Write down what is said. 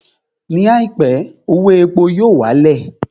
Ní àìpé, owó epo yóò wá lẹ̀